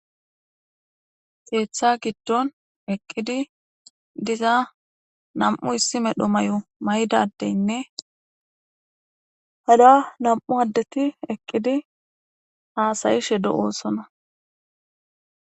Keeththa gidonn nam'u issi maala mayidda adettine qasse nam"u dumma dumma mayo mayida asati hasa'a hassayishshe de"etes